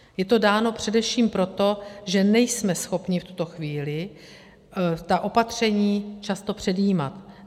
Je to dáno především proto, že nejsme schopni v tuto chvíli ta opatření často předjímat.